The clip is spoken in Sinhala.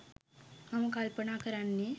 මම කල්පනා කරන්නේ.